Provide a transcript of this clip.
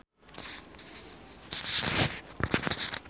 Kantor PT Tempo Scan Pasific alus jeung gede